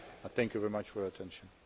Thank you very much for your attention.